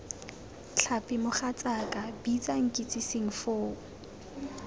tlhapi mogatsaaka bitsa nkitsing foo